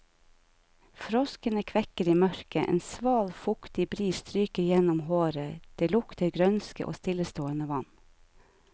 Froskene kvekker i mørket, en sval, fuktig bris stryker gjennom håret, det lukter grønske og stillestående vann.